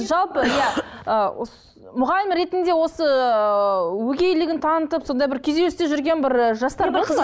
жалпы мұғалім ретінде осы ыыы өгейлігін танытып сондай бір күйзелісте жүрген бір жастар